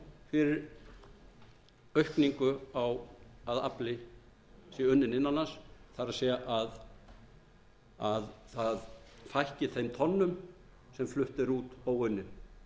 fyrir aukningu á að afli sé unninn innan lands það er að að fækki þeim tonnum sem flutt er út óunnið